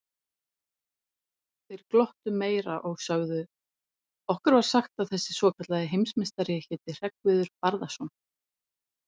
Þeir glottu meira og sögðu: Okkur var sagt að þessi svokallaði heimsmeistari héti Hreggviður Barðason.